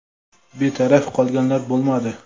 Betaraf qolganlar bo‘lmadi.